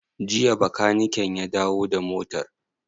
Jiya bakaniken ya dawo da motar?